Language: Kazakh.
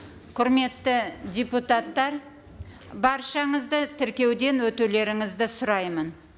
құрметті депутаттар баршаңызды тіркеуден өтулеріңізді сұраймын